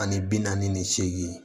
Ani bi naani ni seegin